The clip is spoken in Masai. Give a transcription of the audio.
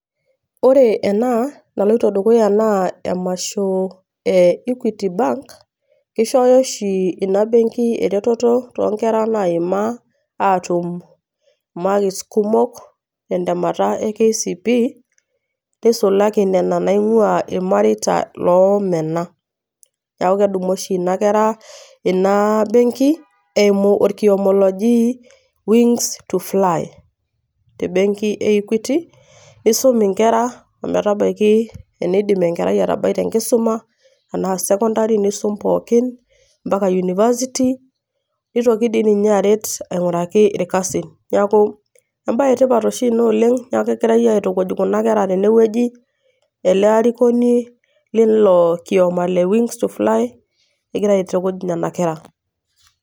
Ore ena naloito dukuya naa emasho e equity bank . Kishooyo oshi ina benki ereteto too nkera naima atum imakis kumok tentemata e kcpe nisulaki nena naingwaa irmareita loomena . Niaku kedumu oshi ina kera, ina benki eimu orkioma loji wings to fly te benki e equity. Nisuminkera ometabaiki eneidim enkerai atabai te enkisuma, tenaa secondary nisum pookin mpaka university, nitoki dii ninye aret ainguraki irkasin . Niaku embae sidai oshi ina oleng, niaku kegirae aitukuj kuna kera tene wueji ele arikoni leilo kioma le wings to fly, egira aitukuj nena kera.